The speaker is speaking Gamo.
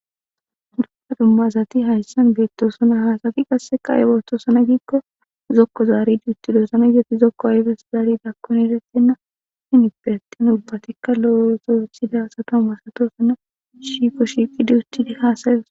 Dumma dumma asati hayssan bettossona hankotikka zoko zaridi uttidda ayssi zokko zaridda gidikko eretenna asatikka lo77o ase malatossona.